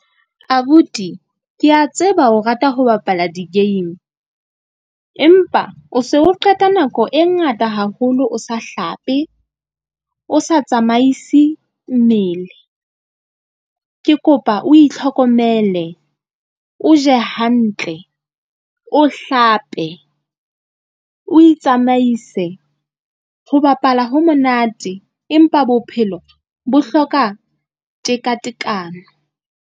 Abuti ke a tseba o rata ho bapala di-game empa o se o qeta nako e ngata haholo, o sa hlape, o sa tsamaise mmele. Ke kopa o itlhokomele, o je hantle, o hlape, o itsamaise ho bapala ho monate. Empa bophelo bo hloka tekatekano.